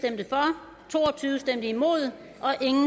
imod